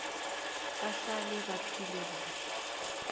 bahlale baphile kuhle